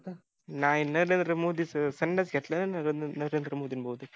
नाही नरेंद्र माेदीच सन्यास घेतलायना नरेंद्र मोदींनी बहुतेक